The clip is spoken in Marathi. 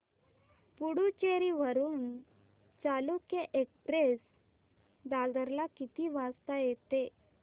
पुडूचेरी वरून चालुक्य एक्सप्रेस दादर ला किती वाजता येते